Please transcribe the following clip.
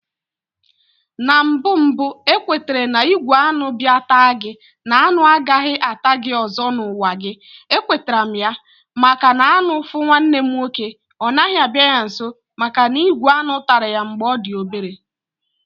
Na mbụ mbụ ekwetera na igwe Añụ bịa taa gi, na anụ agaghị ata gị ọzọ na ụwa gị, ekweterem ya, maka na anụ fu nwanne m nwoke ọ naghị abịa ya nso maka na ìgwè añụ tara ya mgbe ọ dị obere